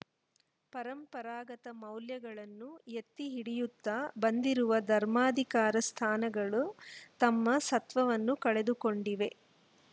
ಪರಂಪರಾಗತ ಮೌಲ್ಯಗಳನ್ನು ಎತ್ತಿ ಹಿಡಿಯುತ್ತಾ ಬಂದಿರುವ ಧರ್ಮಾಧಿಕಾರ ಸ್ಥಾನಗಳು ತಮ್ಮ ಸತ್ವವನ್ನು ಕಳೆದುಕೊಂಡಿವೆ